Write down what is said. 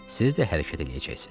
Siz də hərəkət eləyəcəksiz.